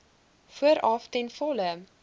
vooraf ten volle